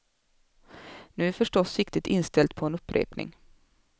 Nu är förstås siktet inställt på en upprepning.